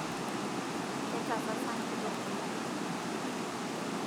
Ketasasa nkitok oleng